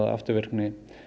afturvirkni